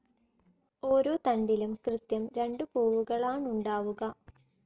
ഓരോ തണ്ടിലും കൃത്യം രണ്ട് പൂവുകളാണുണ്ടാവുക.